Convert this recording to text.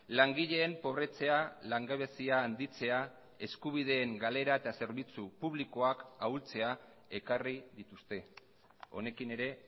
langileen pobretzea langabezia handitzea eskubideen galera eta zerbitzu publikoak ahultzea ekarri dituzte honekin ere